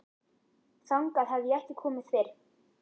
Þangað hafði ég ekki komið fyrr.